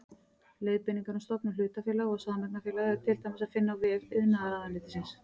Leiðbeiningar um stofnun hlutafélaga og sameignarfélaga er til dæmis að finna á vef iðnaðarráðuneytisins.